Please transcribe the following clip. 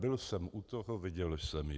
Byl jsem u toho, viděl jsem ji.